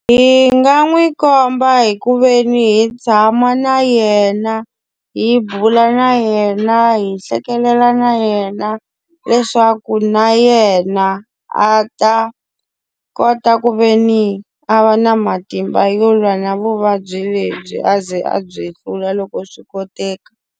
Hi nga n'wi komba hi ku ve ni hi tshama na yena, hi bula na yena, hi hlekelela na yena, leswaku na yena a ta kota ku ve ni a va na matimba yo lwa na vuvabyi lebyi a ze a byi hlula loko swi koteka.